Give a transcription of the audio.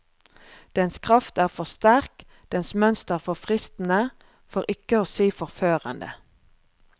Dens kraft er for sterk, dens mønster for fristende, for ikke å si forførende.